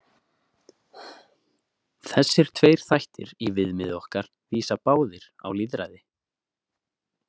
Þessir tveir þættir í viðmiði okkar vísa báðir á lýðræði.